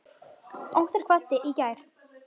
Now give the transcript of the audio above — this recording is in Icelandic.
Óttar kvaddi í gær.